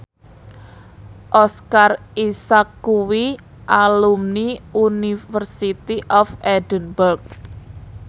Oscar Isaac kuwi alumni University of Edinburgh